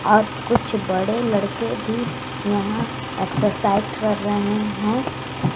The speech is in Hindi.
और कुछ बड़े लड़के भी यहां एक्सरसाइज कर रहे हैं।